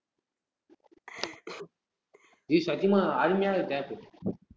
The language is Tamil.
ஏய் சத்தியமா, அருமையான tab